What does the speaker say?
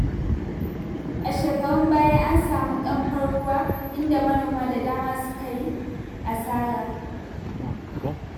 A shekarun baya an samu ƙanfar ruwa, inda manoma da dama suka yi asara.